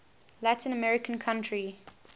latin american country